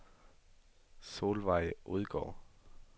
Solvejg Odgaard